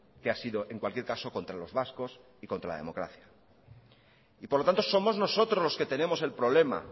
que ha sido en cualquier caso contra los vascos y contra la democracia y por lo tanto somos nosotros los que tenemos el problema